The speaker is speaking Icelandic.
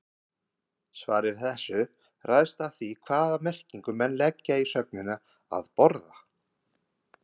Svarið við þessu ræðst af því hvaða merkingu menn leggja í sögnina að borða.